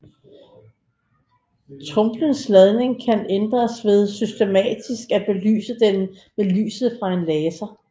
Tromlens ladning kan ændres ved systematisk at belyse den med lyset fra en laser